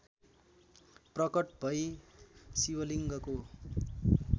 प्रकट भइ शिवलिङ्गको